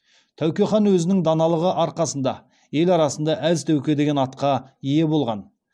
тәуке хан өзінің даналығы арқасында ел арасында әз тәуке деген атқа ие болған